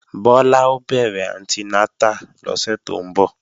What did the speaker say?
Bọ́lá ó bẹ̀rẹ̀ anti nátà lọ́sẹ̀ tó ń bọ̀